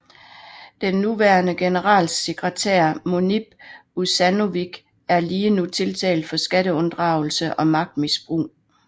Den nuværende generalsekretær Munib Ušanović er lige nu tiltalt for skatteunddragelse og magtmisbrug